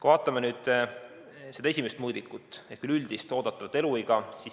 Vaatame nüüd seda esimest mõõdikut ehk üleüldist oodatavat eluiga.